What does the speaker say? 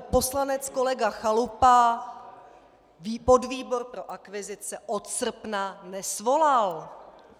poslanec kolega Chalupa podvýbor pro akvizice od srpna nesvolal.